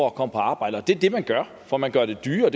at komme på arbejde det er det man gør for man gør det dyrere